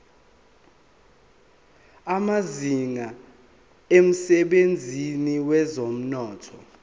amazinga emsebenzini wezomnotho